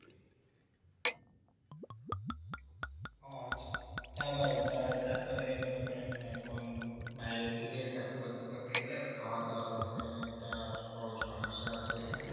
ও আচ্ছা হ্যাঁ ভাই তারপরে মনে করেন এখন বাইরের দিকে চাকরি বাকরি করতে গেলে খাওয়া দাওয়ার মনে করেন একটা বড়ো সমস্যা আছে